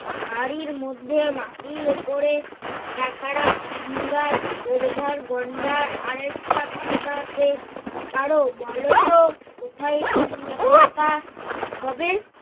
হাড়ির মধ্যে মাটির ওপরে একহারা আমগাছ সুবিধার গন্ডা আরেকটা পাতা আছে কারো বলতো উম কোথায় পোকা হবে।